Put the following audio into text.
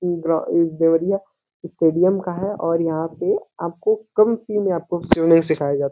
Deoria stadium का है और यहाँ पे आपको कम फी में आपको सिखाया जा --